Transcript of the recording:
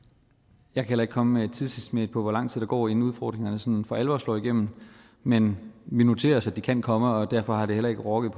jeg kan heller ikke komme med et tidsestimat på hvor lang tid der går inden udfordringerne sådan for alvor slår igennem men vi noterer os at de kan komme og derfor har det heller ikke rokket